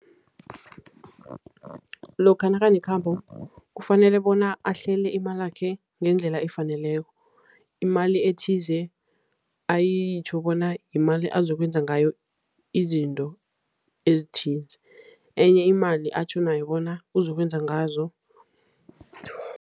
Lokha nakanekhambo kufanele bona ahlele imalakhe ngendlela efaneleko. Imali ethize ayitjho bona yimali azokwenza ngayo izinto ezithize, enye imali atjho nayo bona uzokwenza ngazo